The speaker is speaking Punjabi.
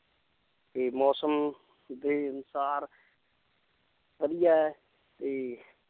ਤੇ ਮੌਸਮ ਦੇ ਅਨੁਸਾਰ ਵਧੀਆ ਹੈ ਤੇ